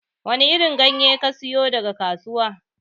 Wani irin ganye kasiyo daga kasuwa?